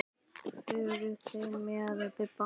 Fóru þeir með Bibba?